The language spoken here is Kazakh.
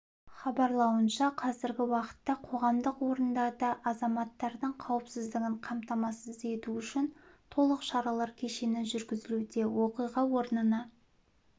хабарлауынша қазіргі уақытта қоғамдық орындарда азаматтардың қауіпсіздігін қамтамасыз ету үшін толық шаралар кешені жүргізілуде оқиға орнына